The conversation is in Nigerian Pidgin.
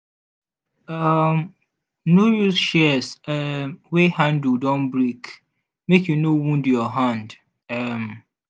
um no use shears um wey handle don break make e no wound your hand. um